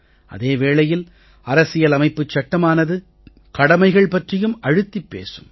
அதே வேளையில் அரசியல் அமைப்புச் சட்டமானது கடமைகள் பற்றியும் அழுத்திப் பேசும்